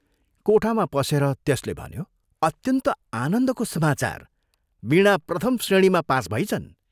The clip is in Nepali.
कोठामा पसेर त्यसले भन्यो "अत्यन्त आनन्दको समाचार वीणा प्रथम श्रेणीमा पास भइछन्।